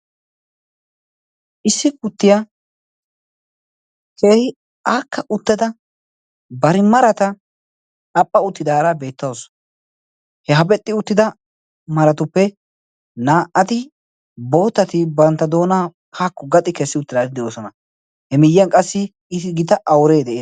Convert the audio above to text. issi kuttiyaa keehi aakka utteda bari marata aphpha uttidaara beettawusu he hapexxi uttida maratuppe naa77ati bootati bantta doona paakku gaxi kessi uttidai de7oosona. he miiyyiyan qassi i gita auree dee'es.